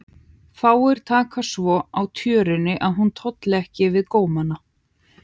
Fáir taka svo á tjörunni að hún tolli ekki við gómana.